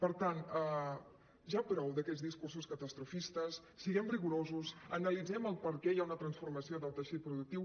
per tant ja prou d’aquests discursos catastrofistes siguem rigorosos analitzem per què hi ha una transformació del teixit productiu